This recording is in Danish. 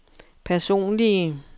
personlige